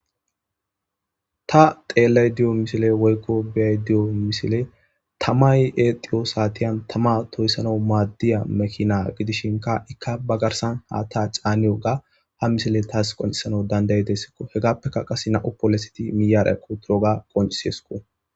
Ta xeellay diyo misile woykko beay diyo misile tamay exiyo saatiyan tama tooyssana maaddiya mekina gidishinka ikka ba garsan ha ta caaniwo ga ha misile taas qoncisana dandayi dessikko hegappeka qase na7u poleseti miyaarekko turoga qonciseesko.